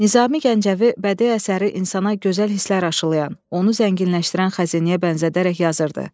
Nizami Gəncəvi bədii əsəri insana gözəl hisslər aşılayan, onu zənginləşdirən xəzinəyə bənzədərək yazırdı.